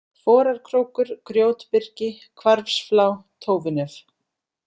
Forarkrókur, Grjótbyrgi, Hvarfsflá, Tófunef